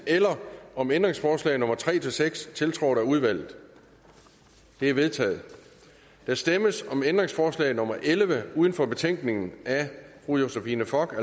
eller om ændringsforslag nummer tre seks tiltrådt af udvalget de er vedtaget der stemmes om ændringsforslag nummer elleve uden for betænkningen af fru josephine fock og